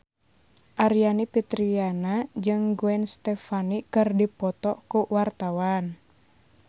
Aryani Fitriana jeung Gwen Stefani keur dipoto ku wartawan